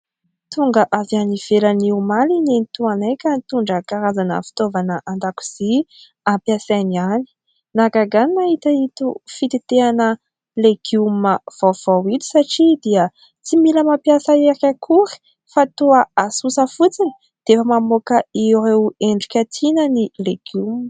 Tonga avy any ivelany omaly nenitoanay ka nitondra karazana fitaovana an-dakozia ampiasainy anÿ. Nahagaga ahy ny nahita ito fitentehana legioma vaovao ito satria dia tsy mila mampiasa hery akory fa toa asosa fotsiny dia efa mamoaka ireo endrika tiana ny legioma.